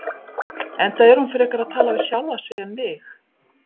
Enda er hún frekar að tala við sjálfa sig en mig.